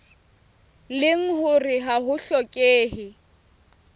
leng hore ha ho hlokehe